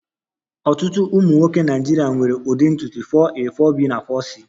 Ọtụtụ ụmụ nwoke Naịjirịa nwere ụdị ntutu 4a,4b na 4c